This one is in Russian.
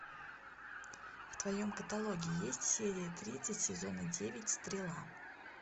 в твоем каталоге есть серия тридцать сезона девять стрела